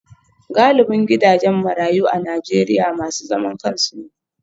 Galibin gidajen marayu a Najeriya masu zaman kansu ne.